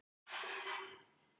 Amerísk jól.